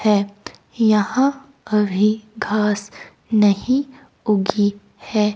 है यहां अभी घास नहीं उगी है।